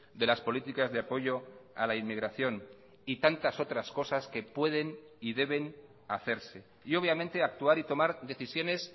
de las políticas de apoyo a la inmigración y tantas otras cosas que pueden y deben hacerse y obviamente actuar y tomar decisiones